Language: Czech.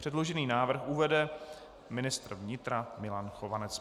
Předložený návrh uvede ministr vnitra Milan Chovanec.